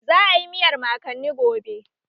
Za a yi miyar mankani gobe